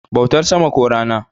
bautar sama ko Rana